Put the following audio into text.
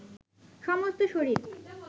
সমস্ত শরীর